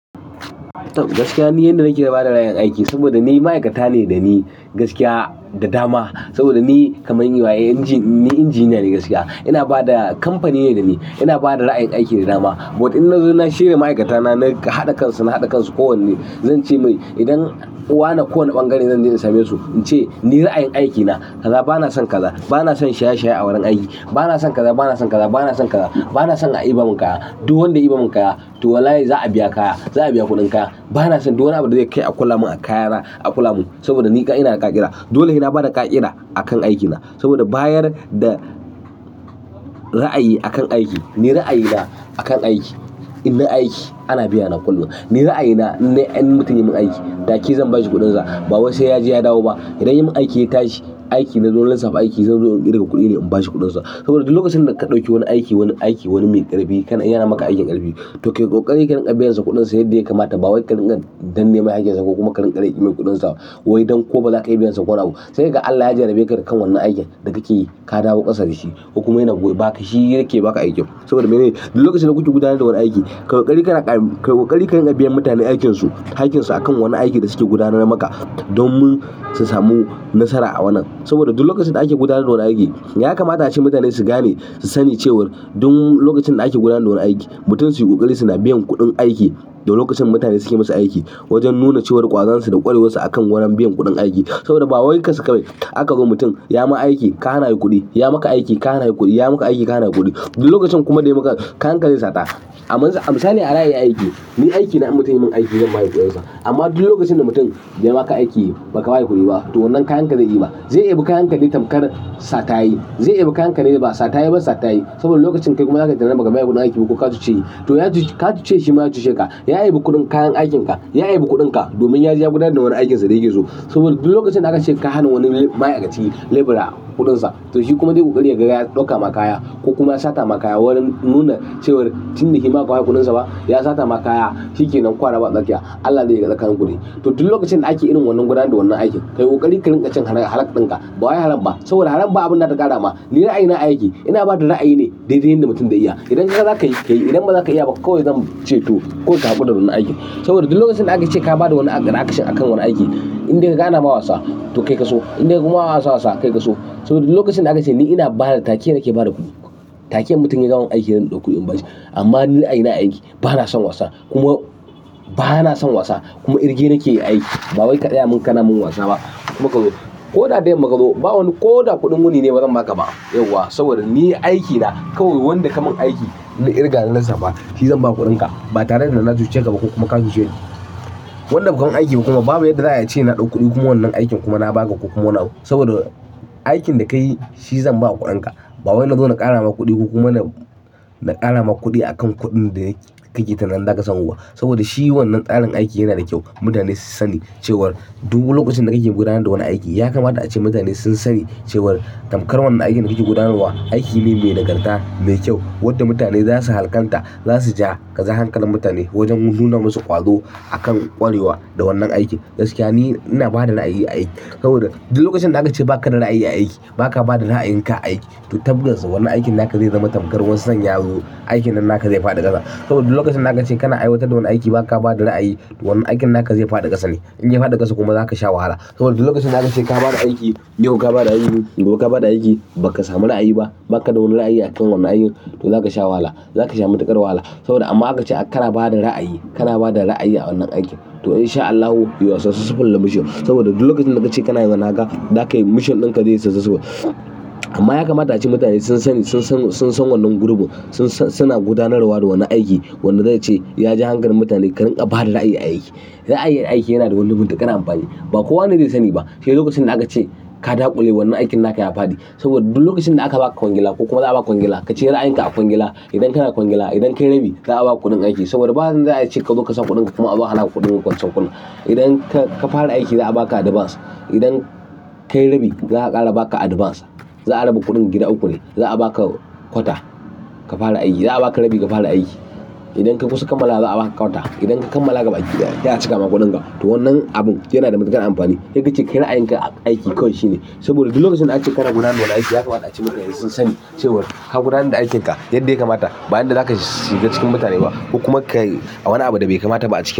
Gaskiya ni yanda nake ba da ra'ayin aiki saboda ni ma'aikata ne da ni gaskiya da dama. Saboda ni kaman yi waye, ni injiniya ne gaskiya. Ina bada kamfani ne da ni, ina bada ra'ayin aiki da dama. But in na zo na shirya ma'aikata na, na haɗa kansu, na haɗa kansu kowanne. Zan ce mai, idan wane kowane bangare zan je in same su, in ce ni ra'ayin aiki na, bana son kaza, bana son shaye-shaye a wurin aiki. Bana son kaza, bana son kaza, bana son kaza, bana son a yi bamu kaya. Duk wanda ya yi bamu kaya, to wallahi za'a biya kaya, za'a biya kuɗin kaya. Bana son duk wani abun da zai kai a kula mun a kayara, a kula mun saboda ni ina da ka'ida. Dole sai na bada ka'ida akan aikina saboda bayan da ra'ayi akan aiki, ni ra'ayi na akan aiki, in nai aiki ana biyana kullum. Ni ra'ayi na idan mutum ya mun aiki, take zan bashi kuɗinsa. Ba wai sai yaje ya dawo ba idan ya yi min aiki, ya tashi, aiki na zo na lissafa aiki, zan zo in ƙirga kuɗi ne in bashi kuɗinsa. Saboda duk lokacin da ka ɗauki wani aiki, wani aiki, wani mai ƙarfi, kana yana maka aikin ƙarfi, to kai ƙokari ka dinga biyan sa kuɗinsa yadda ya kamata. Ba wai ka dinga danne mai hakinsa ko kuma ka ringa rege mai kuɗinsa ba. Wai don ko baza ka iya biyan sa ko nani abu. Sai ga Allah ya jarrabe ka kan wannan aikin da kake yi, ka dawo ƙasa da shi, kuma yana gaba, shi yake baka aikin. Saboda ba ze? Duk lokacin da kuke gudanar da wani aiki, ƙai ƙoƙari ka ringa biyan mutane hakinsu, hakinsu akan wannan aikin da suke gudanarwa maka domin su samu nasara a wannan. Saboda duk lokacin da ake gudanar da wani aiki, ya kamata ace mutane su gane, su sani cewar duk lokacin da ake gudanar da wannan aiki, mutum su yi ƙokari suna biyan kuɗin aiki da lokacin da mutane suke masa aiki, wajen nuna cewar ƙwazon su da ƙwarewar su akan wurin biyan kuɗin aiki. Saboda ba wai kansa kawai, zaka ka mutum, ya ma aiki, ka hana yi kuɗi, ya maka aiki, ka hana yi kuɗi, ya maka aiki, ka hana kuɗi. Duk lokacin kuma da ya maka, kayan ka zai sata. A misali a ra'ayi a aiki, ni aiki na, in mutum ya man aiki zan ba shi kuɗinsa. Amma duk lokacin da mutum ya ma ka aiki ba ka ba shi kuɗi ba, to wannan kayan ka zai diba. Zai debi kayan ka ne tamkar sata ya yi. Zai bebi kayan ka ne ba sata ya yi ba sata ya yi. Saboda lokacin kai kuma ya kayi tunanin baka bashi kuɗin aiki ba ko ka tuce shi, to ka cuce shi, to ka cuce shi shima ya cuce ka. Ya debi kuɗin kayan aikin ka, ya debi kuɗin ka domin yaje ya gudanar da wani aikin sa da yake so saboda duk lokacin da aka ce ka hana wani ma'aikaci labira kuɗinsa, to shi kuma zai ƙoƙari yaga ya ɗauka ma kaya ko kuma ya sata ma kaya wurin nuna cewar tun da shima ba zaka ba sa kuɗinsa ba, ya sata ma kaya, shi ke nan kwa raba tsakiya. Allah dai ya tsare kayan ku dai. To duk lokacin da ake irin wannan gudanar da wannan aiki, ka yi ƙakari ka ringa cin halar ɗinka. Ba wai haram ba saboda haram ba abin da zata ƙara ma. Ni ra'ayi na a aiki, ina bada ra'ayi ne daidai yanda mutum zai iya. Idan kaga zaka yi, ka yi. Idan ba za ka iya ba, kawai zan ce to kawai ka hakura da wannan aiki. Saboda duk lokacin da aka ce ka ba da wani re action a kan wani aiki, in dai kaga ana ma wasa, to kai ka so. In dai kuma ana ma wasa, kai ka so. Saboda duk lokacin da aka ce ni ina bada kaya take nake bada kuɗi. Take mutum ya gama mun aiki zan ɗauko kuɗin in bashi. Amma ni ra'ayi na a aiki bana son wasa kuma bana son wasa kuma kirge nike yi a aiki, ba wai ka tsaya mun kana mun wasa ba. Kuma ko da da yanma kazo, ba wani ko da kuɗin wuni ne bazan ba ka ba yauwa saboda ni aiki na kawai wanda ka min aiki na kirga na lisafa, shi zan baka kuɗin ka ba tare da na cuce ka ba ko kuma ka cuce ni. Wanda baka mun aiki ba kuma babu yadda za'ayi a ce na ɗau kuɗi kuma wannan aikin kuma na ba ka ko kuma wani abu. Saboda aikin da ka yi shi zan baka kuɗin ka. Ba wai na zo na ƙara ma kuɗi ko kuma na ƙara ma kuɗi akan kuɗin da kake tunanin zaka samu ba. Saboda shi wannan tsarin aiki yana da kyau. Mutane su sani cewar duk lokacin da kake gudanar da wani aiki, ya kamata ace mutane sun sani cewar kamkar wannan aikin da kake gudanarwa, aiki ne mai nagarta, mai kyau wanda mutane za su halƙanta, za su ja hankalin mutane wajen nuna masu ƙwazo akan ƙwarewa da wannan aiki. Gaskiya ni ina bada ra'ayi a aiki saboda duk lokacin da aka ce ba ka da ra'ayi a aiki, ba ka bada ra'ayinka a aiki, to tabbas wannan aikin naka zai zama tamkar wasan yaro. Aikin nan naka zai faɗi ƙasa. Saboda duk lokacin da aka ce kana aiwatar da wani aiki ba ka ba da ra'ayi, wannan aikin naka zai faɗi ƙasa ne. In ya faɗi ƙasa kuma za ka sha wahala. Saboda duk lokacin da aka ce ka ba da aiki, yau ka ba da aiki, gobe ka ba da aiki, ba ka samu ra'ayi ba, ba ka da wani ra'ayi akan wannan aikin, to za ka sha wahala. Za ka sha matuƙar wahala. Saboda amma aka ce kana ba da ra'ayi, kana bada ra'ayi a wannan aiki, to in sha Allahu you are successful in the mission. Saboda duk lokacin da kace kana wannan haka, zakayi mission ɗinka zeyi successful. Amma ya kamata ace mutane sun sani, sun san wannan gurubu suna gudanarwa da wani aiki wanda zai ce ya ja hankalin mutane ka ringa bada ra'ayi a aiki. Ra'ayi a aiki yana da wani matuƙar amfani, ba kowane zai sani ba. Sai lokacin da aka ce ka dakule wannan aikin naka ya faɗi. Saboda duk lokacin da aka ba ka kwangila ko kuma za a ba kwangila, ka cire ra'ayin ka a kwangila. Idan kana kwangila, idan ka yi rabi, za a baka kuɗin aiki saboda ba yanda za'a yi kazo kasa kuɗin ka kuma a zo a hana ka kuɗin ka wancan. Idan ka fara aiki, za a ba ka advance. Idan ka yi rabi, za a ƙara ba ka advance. Za a raba kuɗin gida uku ne. Za'a baka kwata ka fara aiki, za'a baka rabi ka fara aiki idan ka kusan kammalawa, za a baka kwata. Idan ka kammala gabaki ɗaya, sai a cika ma kuɗin ka. To wannan abun yana da matuƙar amfani. Sai kace kai ra'ayinka a aiki kawai shine. Saboda duk lokacin da aka ce kana gudanar da wani aiki yakamata ace mutane sun sani cewar ka gudanar da aikin ka yanda yakamata ba yanda zaka shiga cikin mutane ba. Kuma ka yi a wani abu da bai kamata ba a ciki.